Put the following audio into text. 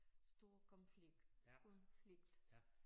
Stor konflikt konflikt